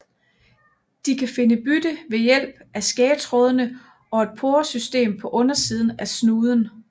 De kan finde byttet ved hjælp af skægtrådene og et poresystem på undersiden af snuden